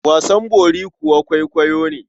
Wasan bori kuwa kwaikwayo ne.